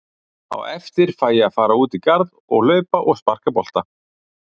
Á eftir fæ ég að fara út í garð og hlaupa og sparka bolta.